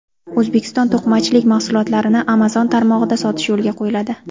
O‘zbekiston to‘qimachilik mahsulotlarini Amazon tarmog‘ida sotish yo‘lga qo‘yiladi.